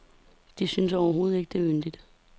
De synes overhovedet ikke, det er yndigt.